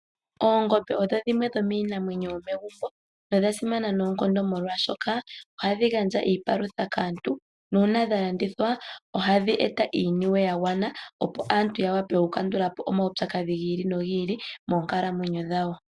Oongombe odho dhimwe dhomiinamwenyo yomegumbo nodha simana noonkondo molwaashoka ohadhi gandja iipalutha kaantu, nuuna dha landithwa ohadhi eta iiniwe ya gwana opo aantu ya wape okukandula po omaupyakadhi gi ili nogi ili moonkalamwenyo dhawo.